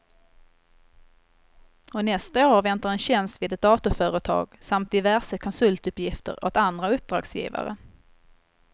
Och nästa år väntar en tjänst vid ett datorföretag samt diverse konsultuppgifter åt andra uppdragsgivare.